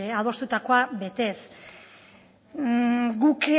adostutakoa betez guk